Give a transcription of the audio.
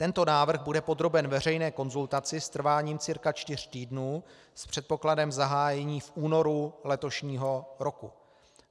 Tento návrh bude podroben veřejné konzultaci s trváním cca čtyř týdnů s předpokladem zahájení v únoru letošního roku.